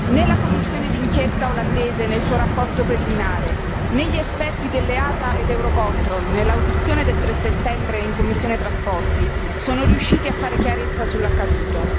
Né la commissione di inchiesta olandese nel suo rapporto preliminare, né gli esperti dell'EASA e di Eurocontrol nell'audizione del 3 settembre in commissione trasporti sono riusciti a fare chiarezza sull'accaduto.